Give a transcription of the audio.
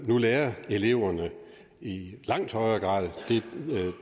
nu lærer eleverne i langt højere grad